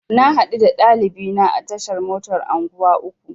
Na haɗu da ɗalibina a tashar motar unguwa uku.